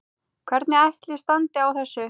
Hvernig ætli standi á þessu?